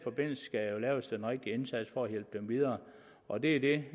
rigtige indsats for at hjælpe dem videre og det er det